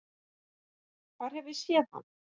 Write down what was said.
Hvar hef ég séð hann?